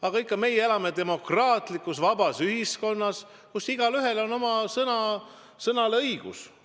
Aga meie elame demokraatlikus vabas ühiskonnas, kus igaühel on õigus oma sõna öelda.